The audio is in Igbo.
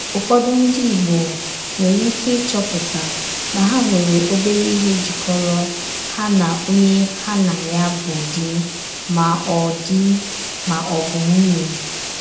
Ụ́fọdù ndí Ìgbò nwerè íké ịchò̄pụ̀tà na hà nwerè òbèrè íhè jíkọ́rò hà na onye hà na ya bụ dì mà ọ̀ dì mà ọ̀ bụ nwùnyè.